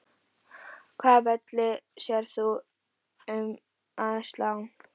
Hvaða velli sérð þú um að slá?